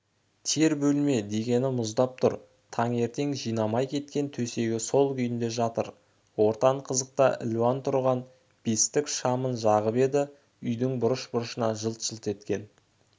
тер бөлме дегені мұздап тұр таңертең жинамай кеткен төсегі сол күйінде жатыр ортан қазықта ілулі тұрған бестік шамын жағып еді үйдің бұрыш-бұрышынан жылт-жылт еткен